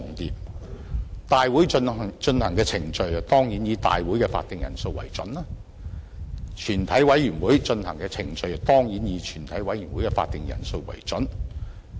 立法會大會進行的程序當然以大會的會議法定人數為準，而全委會進行的程序當然以全委會的會議法定人數為準。